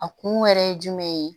A kun yɛrɛ ye jumɛn ye